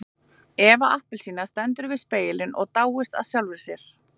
Eva appelsína stendur við spegilinn og dáist að sjálfri sér.